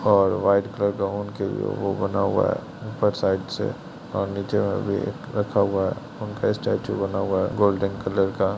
और white colour का उनके लिए वो बना हुआ है ऊपर साइड से और नीचे में भी रखा हुआ है उनका स्टेचू बना हुआ है गोल्डन कलर का|